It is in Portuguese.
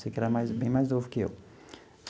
Sei que era mais bem mais novo que eu.